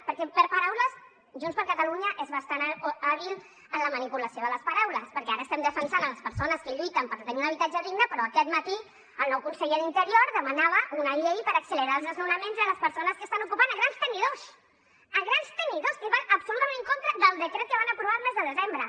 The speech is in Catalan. perquè per paraules junts per catalunya és bastant hàbil en la manipulació de les paraules perquè ara estem defensant les persones que lluiten per tenir un habitatge digne però aquest matí el nou conseller d’interior demanava una llei per accelerar els desnonaments de les persones que estan ocupant grans tenidors grans tenidors que va absolutament en contra del decret que van aprovar el mes de desembre